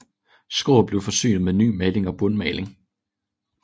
Skroget blev forsynet med ny maling og bundmaling